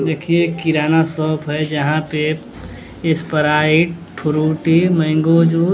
देखिए एक किराना शॉप है यहां पे स्प्राइट फ्रूटी मैंगो जूस --